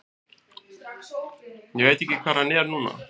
Ég veit ekki hvar hann er núna.